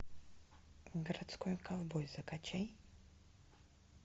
городской ковбой закачай